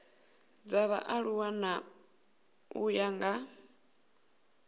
dza vhaaluwa u ya nga